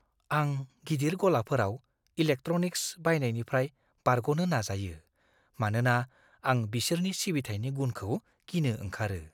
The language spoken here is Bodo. आं गिदिर गलाफोराव इलेक्ट्र'निक्स बायनायनिफ्राय बारग'नो नाजायो, मानोना आं बिसोरनि सिबिथायनि गुनखौ गिनो ओंखारो।